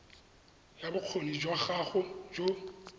ya bokgoni jwa gago jo